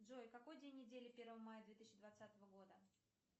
джой какой день недели первое мая две тысячи двадцатого года